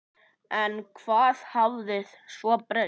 En hvað hafði svo breyst?